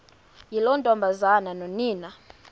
yiloo ntombazana nonina